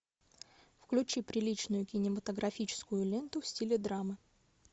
включи приличную кинематографическую ленту в стиле драма